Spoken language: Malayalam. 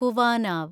കുവാനാവ്